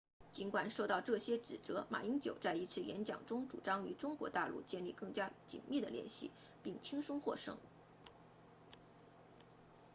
尽管受到这些指责马英九在一次演讲中主张与中国大陆建立更加紧密的联系并轻松获胜